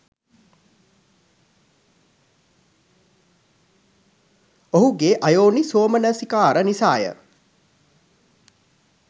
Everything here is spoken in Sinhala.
ඔහුගේ අයෝනිසෝමනසිකාර නිසාය.